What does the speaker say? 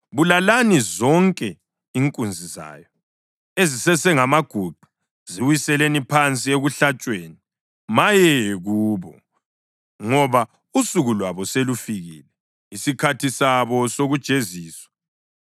Bulalani zonke inkunzi zayo ezisesengamaguqa; ziwiseleni phansi ekuhlatshweni! Maye kubo! Ngoba usuku lwabo selufikile, isikhathi sabo sokujeziswa.